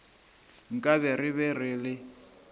nkabe re be re le